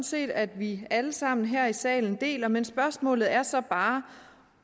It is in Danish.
set at vi alle sammen her i salen deler men spørgsmålet er så bare